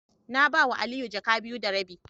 Na ba wa Ali jaka biyu da rabi.